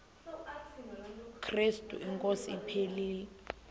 krestu inkosi ephilileyo